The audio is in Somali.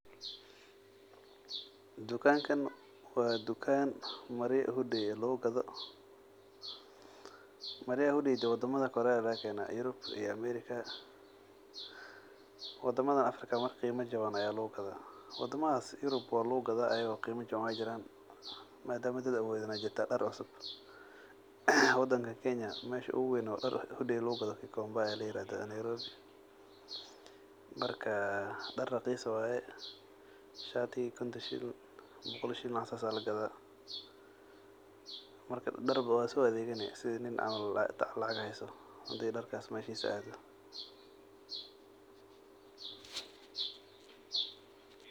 Dukankan wa dukan marya hudey ah lugugado, maryaha hudeyda wadadha kore aa lagakena ,Europe iyo America. Wadamadan Africa marka qima jaban aa lugugadah, wadamahas Europe ayabo wa lugugadah , madama dad awodin ay jiran dar cusub . Wadankan Kenya mesha uguweyn sdar hudey ah lugugado Gikomba aa layirahdah Nairobi marka dar raqis waye shatigi konton shilin boqol shilin wax nocas aa lagadah, darka waso adegani sidi nin camal lacag haysto, hadi darkas meshis ado.